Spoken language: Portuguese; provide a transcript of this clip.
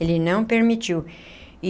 Ele não permitiu.